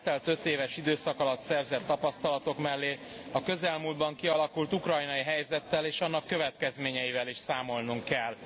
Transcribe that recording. Az eltelt ötéves időszak alatt szerzett tapasztalatok mellé a közelmúltban kialakult ukrajnai helyzettel és annak következményeivel is számolnunk kell.